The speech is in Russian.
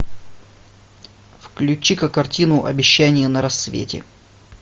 включи ка картину обещание на рассвете